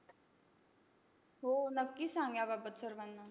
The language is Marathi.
हो, नक्की सांग याबाबत सर्वांना.